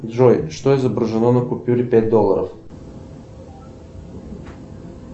джой что изображено на купюре пять долларов